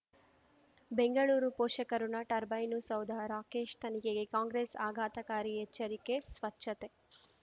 ಬೆಂಗಳೂರು ಪೋಷಕಋಣ ಟರ್ಬೈನು ಸೌಧ ರಾಕೇಶ್ ತನಿಖೆಗೆ ಕಾಂಗ್ರೆಸ್ ಆಘಾತಕಾರಿ ಎಚ್ಚರಿಕೆ ಸ್ವಚ್ಛತೆ